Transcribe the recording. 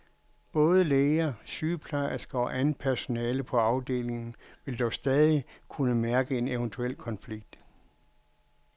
Både læger, sygeplejersker og andet personale på afdelingen vil dog stadig kunne mærke en eventuel konflikt.